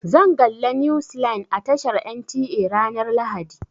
Zan galla news line a tashar NTA ranar lahadi.